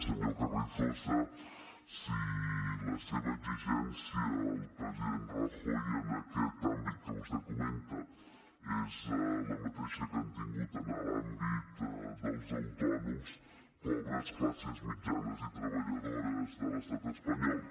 senyor carrizosa si la seva exigència al president rajoy en aquest àmbit que vostè comenta és la mateixa que han tingut en l’àmbit dels autònoms pobres classes mitjanes i treballadores de l’estat espanyol